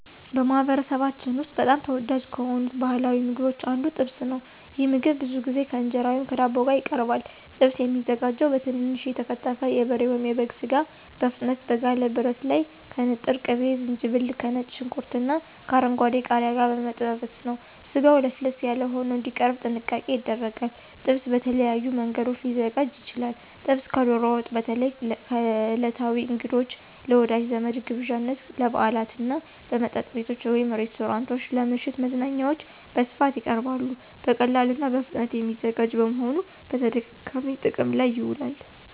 በማኅበረሰባችን ውስጥ በጣም ተወዳጅ ከሆኑት ባሕላዊ ምግቦች አንዱ ጥብስ ነው። ይህ ምግብ ብዙ ጊዜ ከእንጀራ ወይም ከዳቦ ጋር ይቀርባል። ጥብስ የሚዘጋጀው በትንንሽ የተከተፈ የበሬ ወይም የበግ ሥጋ በፍጥነት በጋለ ብረት ላይ ከንጥር ቅቤ፣ ዝንጅብል፣ ከነጭ ሽንኩርትና ከአረንጓዴ ቃሪያ ጋር በመጠበስ ነው። ስጋው ለስለስ ያለ ሆኖ እንዲቀርብ ጥንቃቄ ይደረጋል። ጥብስ በተለያዩ መንገዶች ሊዘጋጅ ይችላል። ጥብስ ከዶሮ ወጥ በተለይ ለዕለታዊ እንግዶች፣ ለወዳጅ ዘመድ ግብዣዎች፣ ለበዓላት እና በመጠጥ ቤቶች (ሬስቶራንቶች) ለምሽት መዝናኛዎች በስፋት ይቀርባል። በቀላሉና በፍጥነት የሚዘጋጅ በመሆኑ በተደጋጋሚ ጥቅም ላይ ይውላል።